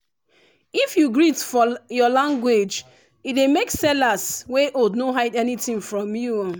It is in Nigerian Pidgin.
if you greet for your language e dey make sellers wey old no hide anything from you um